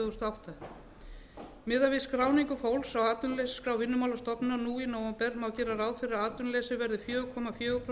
þúsund og átta miðað við skráningu fólks á atvinnuleysisskrá vinnumálastofnunar nú í nóvember má gera ráð fyrir að atvinnuleysi verði fjögur komma fjögur prósent um